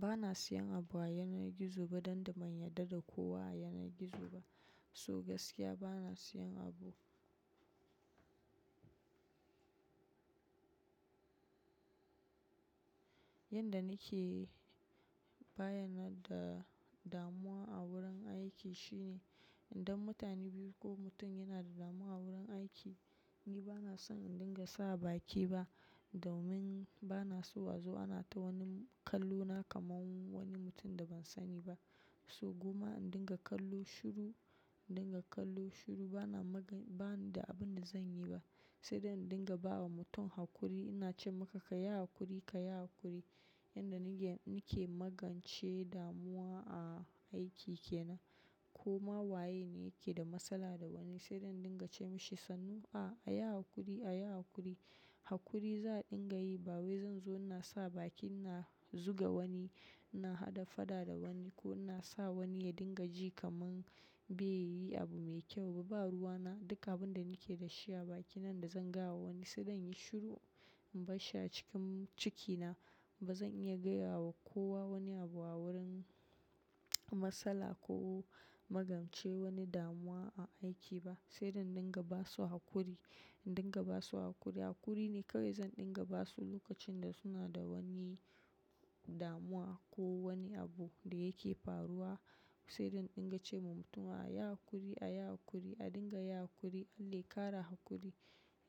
Ba na siyan abu a yanar gizo ba don da bayyaɗa da kowa a yanar gizo ba. So gaskiya ba na siyan abu. Yanda nake bayyana da damuwa a wurin aiki shine idan mutane biyu ko mutum yana da damuwa a wurin aiki, ni ba na son in dinga sa baki ba domin bana so azo ana ta wani kallo na kamar wani mutum da ban sani ba. So goma in dinga kallo shiru, in dinga kallo shiru bana magan- bani da abin da zan yi ba. Sai dai in dinga bawa mutum hakuri, ina ce maka ka yi hakuri, ka yi hakuri. Yanda nake magance damuwa a aiki kenan. Koma waye ne yake da matsala da wani sai dai in dinga ce mashi sannu, a, a yi hakuri, a yi hakuri. Hakuri za dinga yi ba wai zan zo ina sa bakin ina zuga wani, ina haɗa fada da wani ko ina sa wani ya dinga ji kamar bai yi abu mai kyau ba. Ba ruwana duk abun da nake da shi a baki nan da zan gaya wa wani sai dan yi shiru. In bashi a cikin ciki na, ba zan iya gaya wa kowa wani abu a wurin matsala ko magance wani damuwa a aiki ba. Sai dai in dinga ba su hakuri, dinga ba su hakuri. Hakuri ne kawai zan dinga ba su lokacin da suna da wani damuwa ko wani abu da yake faruwa. Sai dai in dinga ce ma mutum a yi hakuri, a yi hakuri, a dinga yi hakuri, Allah ya ƙara hakuri.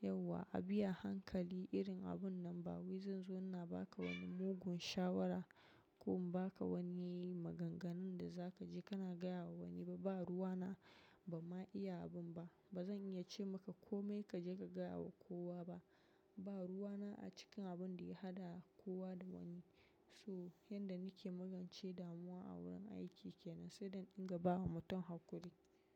Yauwa a bi a hankali irin abun nan ba wai zan zo ina ba ka wani mugun shawara ko in ba ka wani maganganun da za ka je kana gaya wa wani ba. Ba ruwana ban ma iya abin ba. Ba zan iya ce maka kome ka je ka gaya wa kowa ba. Ba ruwana a cikin abun da ya haɗa kowa da wani. So yanda nake magance damuwa a wurin aiki kenan sai dai in dinga bawa mutum hakuri.